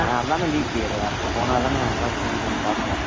அதான் லீப்யறு அதானே ஏதாவது தெரிதான்னு பார்ப்போம்